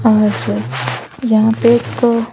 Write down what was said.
आज यहाँ पे एक --